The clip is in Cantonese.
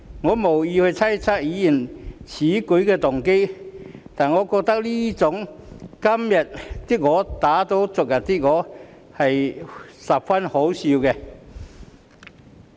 我無意猜測議員此舉的動機，但我認為這種"今天的我打倒昨天的我"的行為十分可笑。